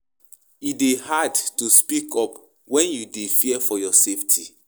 E dey hard to speak up when you dey fear for your safety.